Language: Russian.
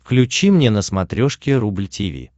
включи мне на смотрешке рубль ти ви